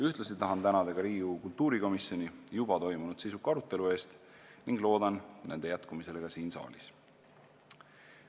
Ühtlasi tahan tänada Riigikogu kultuurikomisjoni juba toimunud sisuka arutelu eest ning loodan nende arutelude jätkumist ka siin saalis.